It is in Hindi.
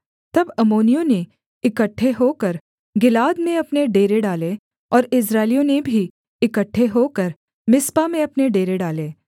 तब अम्मोनियों ने इकट्ठे होकर गिलाद में अपने डेरे डाले और इस्राएलियों ने भी इकट्ठे होकर मिस्पा में अपने डेरे डाले